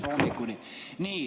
Nii.